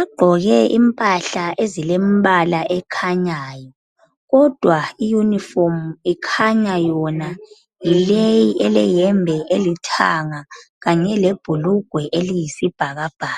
ugqoke impahla ezilembala ekhanyayo kodwa ioyunifomu ikhanya yileyi eleyembe elithanga lebhulugwe eliyibhakabhaka.